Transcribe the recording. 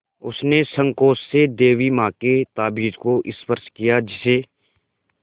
उसने सँकोच से देवी माँ के ताबीज़ को स्पर्श किया जिसे